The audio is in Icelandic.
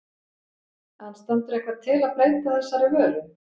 En stendur eitthvað til að breyta þessari vöru?